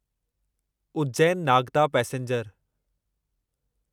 Ujjain Nagda passenger